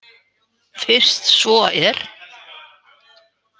Fyrst svo er.